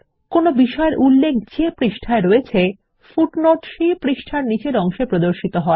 কোন বিষয়ের উল্লেখ যে পৃষ্ঠায় হয়েছে পাদটীকা সেই পৃষ্ঠার নীচের অংশে প্রদর্শিত হয়